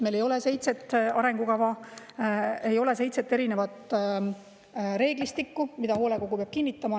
Meil ei ole seitset arengukava, ei ole seitset erinevat reeglistikku, mida hoolekogu peab kinnitama.